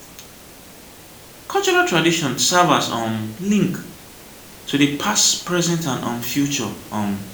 cultural tradition serve as um link to di past present and um future um